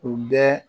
U bɛ